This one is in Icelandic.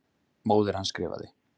Móðir hans skrifaði.